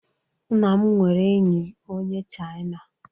Nna m nwere enyi onye Chaina